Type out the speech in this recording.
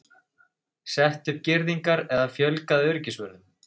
Sett upp girðingar eða fjölgað öryggisvörðum?